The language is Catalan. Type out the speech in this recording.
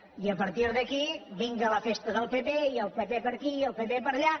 i a partir d’aquí vinga la festa del pp i el pp per aquí i el pp per allà